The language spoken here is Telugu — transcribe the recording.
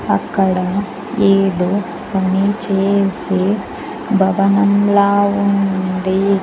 అక్కడ ఏదో పని చేసే భవనంలా ఉంది.